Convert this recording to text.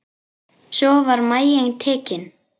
Svo var maginn tekinn.